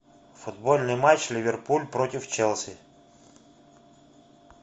футбольный матч ливерпуль против челси